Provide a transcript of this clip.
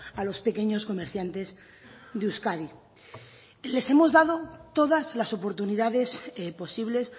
a los pequeños comerciantes de euskadi les hemos dado todas las oportunidades posibles